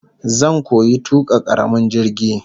Zan koyi tuka karamin jirgi